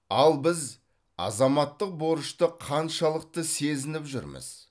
ал біз азаматтық борышты қаншалықты сезініп жүрміз